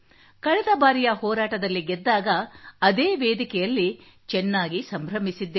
ಕಳೆದ ಬಾರಿಯ ಹೋರಾಟದಲ್ಲಿ ಗೆದ್ದಾಗ ಅದೇ ವೇದಿಕೆಯಲ್ಲಿ ಚೆನ್ನಾಗಿ ಸಂಭ್ರಮಿಸಿದ್ದೆವು